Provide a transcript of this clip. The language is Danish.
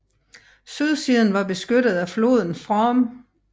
Sydsiden var beskyttet af floden Frome